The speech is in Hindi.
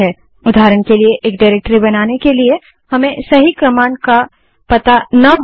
उदाहरण के लिए डाइरेक्टरी बनाने के लिए हमें सही कमांड का पता ना हो